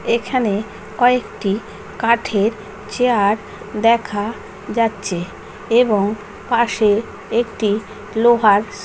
এখানে কয়েকটি কাঠের চেয়ার দেখা যাচ্ছে। এবং পাশে একটি লোহার --